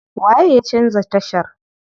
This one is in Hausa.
Waye ya canza tashar?